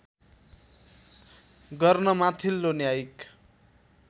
गर्न माथिल्लो न्यायिक